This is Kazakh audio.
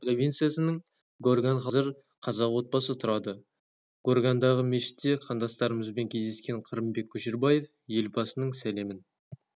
гүлстан провинциясының горган қаласында қазір қазақ отбасы тұрады горгандағы мешітте қандастарымызбен кездескен қырымбек көшербаев елбасының сәлемін